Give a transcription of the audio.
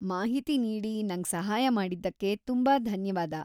ಮಾಹಿತಿ ನೀಡಿ ನಂಗ್ ಸಹಾಯ ಮಾಡಿದ್ದಕ್ಕೆ ತುಂಬಾ ಧನ್ಯವಾದ.